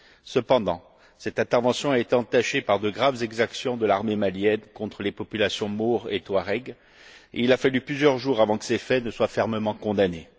Cependant, cette intervention a été entachée de graves exactions de l'armée malienne contre les populations maure et touareg, et il a fallu plusieurs jours avant que ces faits ne soient fermement condamnés.